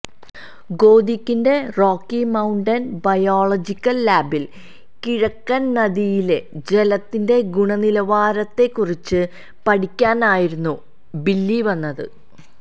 ഗോതിക്കിന്റെ Rocky Mountain Biological ലാബിൽ കിഴക്കൻ നദിയിലെ ജലത്തിന്റെ ഗുണനിലവാരത്തെ കുറിച്ച് പഠിക്കാനായിരുന്നു ബില്ലി വന്നത്